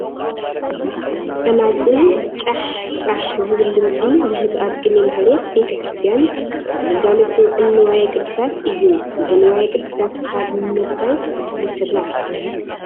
ፀናፅል ጫሕ ፃሕ ዝብል ድምፂ ዝህብ ኣብ ቅኔ ማህሌት ቤተ ክርስቲያን ኣብ ግልጋሎት ዝውዕል ንዋየ ቅድሳት እዩ፡፡ እዚ ንዋየ ቅድሳት ካብ ምርታይ ይስራሕ?